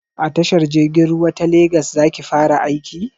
A tashar jirgin ruwa ta legas za ki fara aiki?